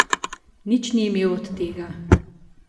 Nič ni imel od tega.